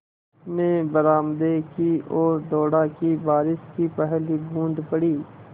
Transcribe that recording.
मैं बरामदे की ओर दौड़ा कि बारिश की पहली बूँद पड़ी